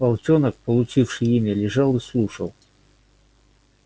волчонок получивший имя лежал и слушал